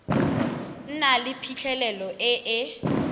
nna le phitlhelelo e e